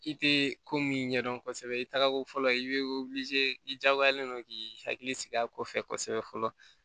I tɛ ko min ɲɛdɔn kosɛbɛ i tagako fɔlɔ i bɛ i diyagoyalen don k'i hakili sigi a kɔfɛ fɔlɔ